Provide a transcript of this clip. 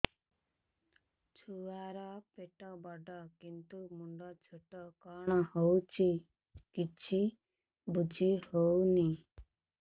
ଛୁଆର ପେଟବଡ଼ କିନ୍ତୁ ମୁଣ୍ଡ ଛୋଟ କଣ ହଉଚି କିଛି ଵୁଝିହୋଉନି